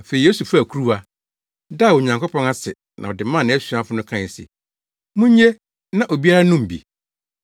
Afei Yesu faa kuruwa, daa Onyankopɔn ase na ɔde maa nʼasuafo no kae se, “Munnye na obiara nnom bi.